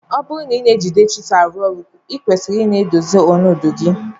Ọburu na ejide chisul arụ ọrụ ikwesiri ina edozi ọnọdu gi.